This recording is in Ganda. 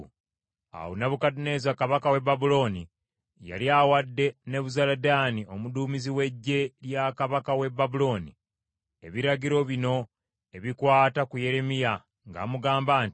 Awo Nebukadduneeza kabaka w’e Babulooni yali awadde Nebuzaladaani omuduumizi w’eggye lya kabaka w’e Babulooni, ebiragiro bino ebikwata ku Yeremiya ng’amugamba nti,